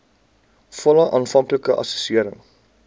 volle aanvanklike assessering